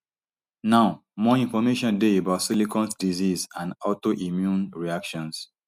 now more information dey about silicone disease and autoimmune reactions